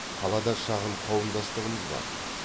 қалада шағын қауымдастығымыз бар